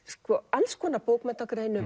alls konar